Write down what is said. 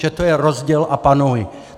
Že to je rozděl a panuj.